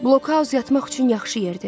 Blokhaus yatmaq üçün yaxşı yerdir.